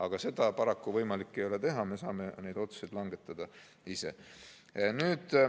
Aga seda paraku võimalik ei ole teha, me saame neid otsuseid langetada ise.